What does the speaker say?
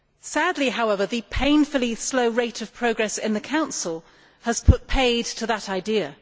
Sadly, however, the painfully slow rate of progress in the Council has put paid to that idea.